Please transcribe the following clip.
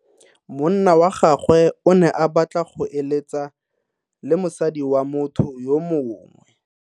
Monna wa gagwe o ne a batla go eletsa le mosadi wa motho yo mongwe.